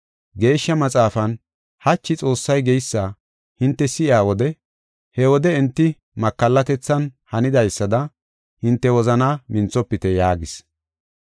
Geeshsha Maxaafan, “Hachi Xoossay geysa hinte si7iya wode, he wode enti makallatethan hanidaysada, hinte wozanaa minthofite” yaagis.